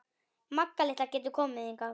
Magga litla getur komið hingað.